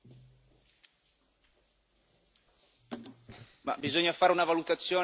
Bisogna fare una valutazione d'impatto ambientale ed economico quando si spendono tanti soldi.